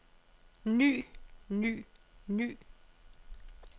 ny ny ny